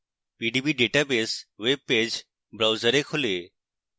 pdb database web page browser খোলে